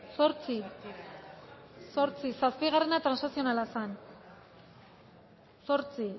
zortzi zortzi zazpigarrena transakzionala zen zortzi